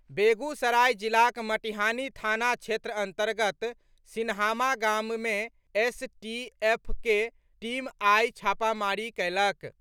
बेगुसराय जिलाक मटिहानी थाना क्षेत्र अंतर्गत सिन्हामा गाम मे एसटीएफक टीम आइयो छापामारी कयलक।